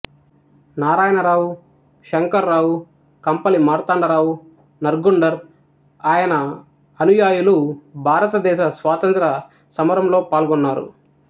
నారాయణ రావు షంకర్ రావు కంపలి మార్తాండరావు నర్గుండ్కర్ ఆయన అనుయాయులు భారతదేశ స్వాతంత్ర్య సమరంలో పాల్గొన్నారు